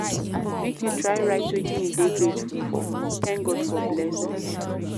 Make you try write wetin you dey grateful for, thank God for blessings.